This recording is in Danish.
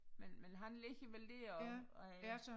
Men men han ligger vel dér og og er